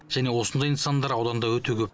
және осындай нысандар ауданда өте көп